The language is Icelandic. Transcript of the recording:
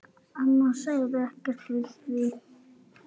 Amma sagði ekkert við því.